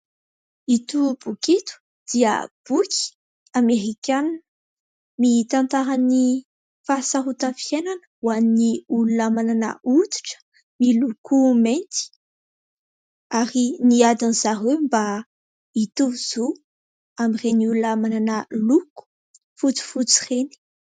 Ito boky ito dia boky Amerikanina, mitantara ny fahasarotan'ny fiainana ho an'ny olona manana hoditra miloko mainty ary ny adin'i zareo mba hitovy zo amin'ireny olona manana loko fotsifotsy ireny.